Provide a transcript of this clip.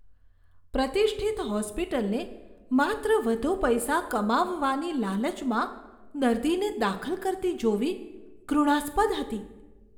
પ્રતિષ્ઠિત હોસ્પિટલને માત્ર વધુ પૈસા કમાવવાની લાલચમાં દર્દીને દાખલ કરતી જોવી ઘૃણાસ્પદ હતી.